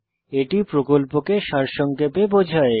এটি প্রকল্পকে সারসংক্ষেপে বোঝায়